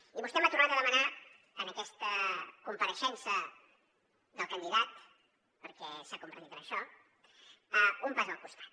i vostè m’ha tornat a demanar en aquesta compareixença del candidat perquè s’ha convertit en això un pas al costat